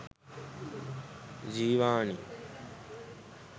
jeewani